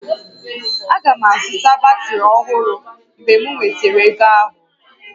Aga m azụta batrị ọhụrụ mgbe m nwetara ego ahụ